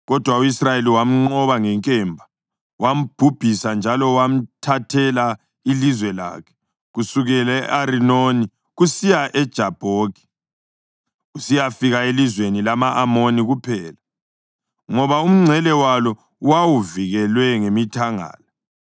Kodwa u-Israyeli wamnqoba ngenkemba, wambhubhisa njalo wamthathela ilizwe lakhe kusukela e-Arinoni kusiya eJabhoki, kusiyafika elizweni lama-Amoni kuphela, ngoba umngcele walo wawuvikelwe ngemithangala.